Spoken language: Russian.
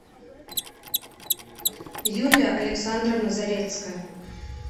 юлия александровна зарецкая